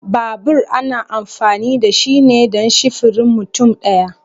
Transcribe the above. Babur ana amfani da shi ne dan sifirin mutum daya.